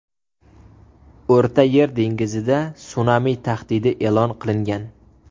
O‘rta Yer dengizida sunami tahdidi e’lon qilingan.